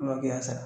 Makɛ sa